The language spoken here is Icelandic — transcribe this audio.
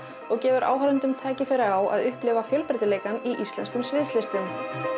og gefur áhorfendum tækifæri á að upplifa fjölbreytileikann í íslenskum sviðslistum